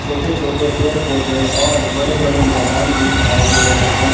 छोटे-छोटे पेड़ पौधे और बड़े-बड़े मैदान भी दिखाई दे रहे हैं।